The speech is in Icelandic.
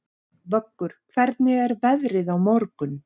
Vöggur, hvernig er veðrið á morgun?